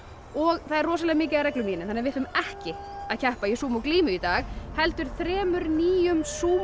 og það er rosalega mikið af reglum í henni þannig að við ætlum ekki að keppa í Sumo glímu í dag heldur þremur nýjum